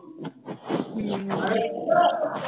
ਹਮ